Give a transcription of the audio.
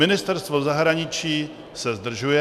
Ministerstvo zahraničí se zdržuje.